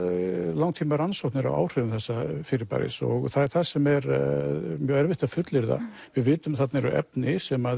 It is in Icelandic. langtímarannsóknir á áhrifum þessa fyrirbæris og það er það sem er mjög erfitt að fullyrða við vitum að þarna eru efni sem